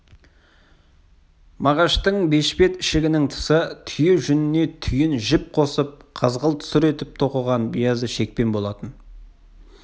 мағаштың бешпет ішігінің тысы түйе жүніне түйін жіп қосып қызғылт-сұр етіп тоқыған биязы шекпен болатын